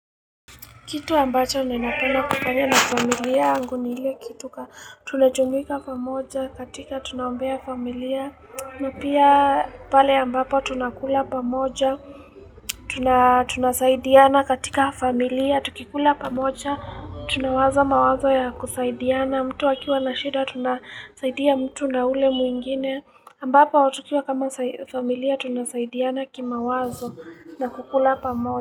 Kitu ambacho ninanapenda kufanya na familia yangu ni ile kitu kwa tuajumuika pamoja katika tunaombea familia na pia pale ambapo tunakula pamoja, tuna tunasaidiana katika familia, tukikula pamoja, tunawaza mawazo ya kusaidiana, mtu akiwa na shida tunasaidia mtu na ule mwingine ambapo tukiwa kama familia tunasaidiana kimawazo na kukula pamoja.